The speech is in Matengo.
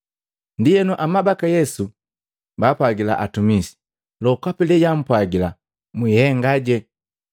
Ndienu amabaka Yesu baapwagila atumisi, “Lokapi lejwaampwagila, mwihengaje.”